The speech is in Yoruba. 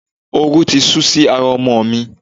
Oru ti sú si ara ọmọ mi.